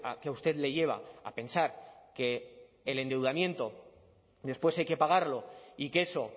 que a usted le lleva a pensar que el endeudamiento después hay que pagarlo y que eso